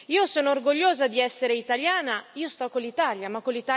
Io sono orgogliosa di essere italiana. Io sto con l'Italia, ma